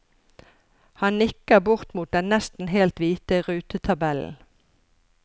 Han nikker bort mot den nesten helt hvite rutetabellen.